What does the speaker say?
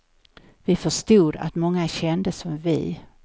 Vi förstod att många kände som vi.